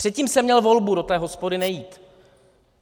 Předtím jsem měl volbu do té hospody nejít.